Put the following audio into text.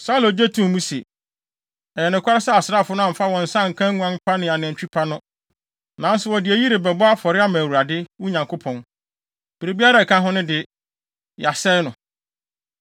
Saulo gye too mu se, “Ɛyɛ nokware sɛ asraafo no amfa wɔn nsa anka nguan pa ne anantwi pa no. Nanso wɔde eyi rebɛbɔ afɔre ama Awurade, wo Nyankopɔn. Biribiara a ɛka ho no de, yɛasɛe no.”